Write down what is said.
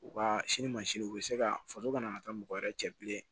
U ka sini mansin u bɛ se ka faso ka na taa mɔgɔ wɛrɛ cɛ bilen